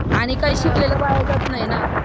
आणि शिकलेलं काय वाया जात नाही ना